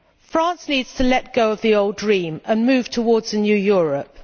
France needs to let go of the old dream and move towards a new Europe.